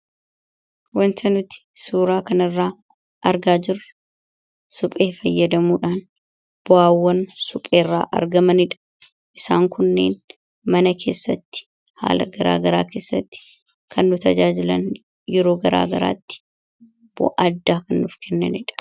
wanta nuti suuraa kan irraa argaa jiru suphee fayyadamuudhaan bo'aawwan supheerraa argamaniidha isaan kunneen mana keessatti haala garaagaraa keessatti kannu tajaajilan yeroo garaagaraatti addaa knuuf kennaidha